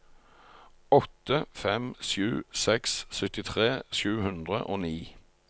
åtte fem sju seks syttitre sju hundre og ni